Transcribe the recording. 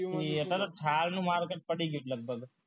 thar નું market પડ્યું છે લગભગ